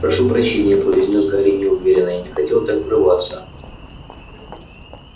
прошу прощения произнёс гарри неуверенно я не хотел так врываться